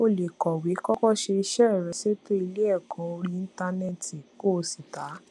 o lè kọwé kókó ṣe iṣé rẹ ṣètò ilé èkó orí íńtánéètì kó o sì ta